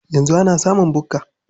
Yanzu ana samun bukka?